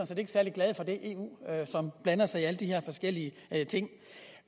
set ikke særlig glade for det eu som blander sig i alle de her forskellige ting